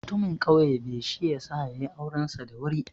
Mutamin ƙauye be, shi ya sa ya yi aurensa da wuri.